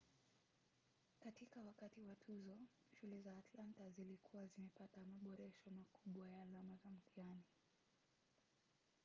katika wakati wa tuzo shule za atlanta zilikuwa zimepata maboresho makubwa ya alama za mtihani